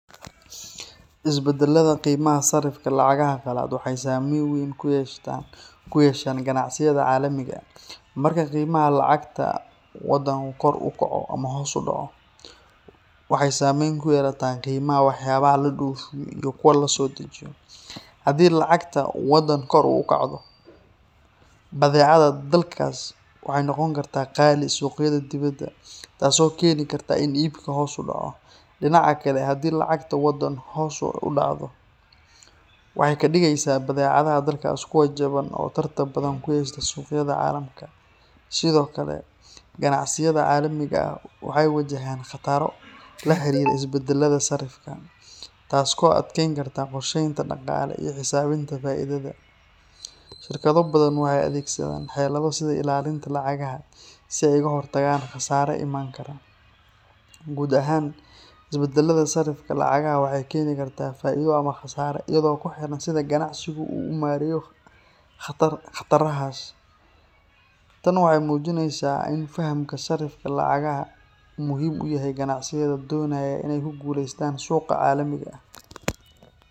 Isbeddellada qiimaha sarrifka lacagaha qalaad waxay saameyn weyn ku yeeshaan ganacsiyada caalamiga ah. Marka qiimaha lacagta waddan kor u kaco ama hoos u dhaco, waxay saameyn ku yeelataa qiimaha waxyaabaha la dhoofiyo iyo kuwa la soo dejiyo. Haddii lacagta waddan kor u kacdo, badeecadaha dalkaas waxay noqon karaan qaali suuqyada dibadda, taasoo keeni karta in iibka hoos u dhaco. Dhinaca kale, haddii lacagta waddan hoos u dhacdo, waxay ka dhigaysaa badeecadaha dalkaas kuwo jaban oo tartan badan ku yeesha suuqyada caalamka. Sidoo kale, ganacsiyada caalamiga ah waxay wajahayaan khataro la xiriira isbeddelka sarrifka, taasoo adkeyn karta qorsheynta dhaqaale iyo xisaabinta faa’iidada. Shirkado badan waxay adeegsadaan xeelado sida ilaalinta lacagaha si ay uga hortagaan khasaare iman kara. Guud ahaan, isbeddellada sarrifka lacagaha waxay keeni karaan faa’iido ama khasaare iyadoo ku xiran sida ganacsigu u maareeyo khatarahaas. Tan waxay muujinaysaa in fahamka sarrifka lacagaha uu muhiim u yahay ganacsiyada doonaya inay ku guuleystaan suuqa caalamiga ah.